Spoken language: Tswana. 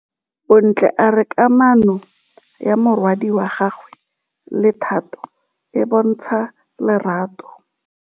Bontle a re kamanô ya morwadi wa gagwe le Thato e bontsha lerato.